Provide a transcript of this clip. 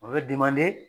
O ye